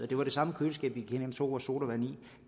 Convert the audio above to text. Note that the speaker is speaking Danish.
det var det samme køleskab vi gik ind og tog vores sodavand i det